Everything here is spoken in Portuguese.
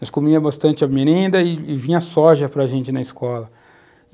Nós comíamos bastante a merenda e vinha a soja para gente na escola.